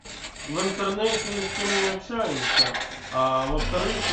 в интернете ни с кем не общаемся а во вторых